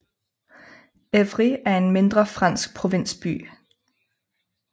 Évry er en mindre fransk provinsby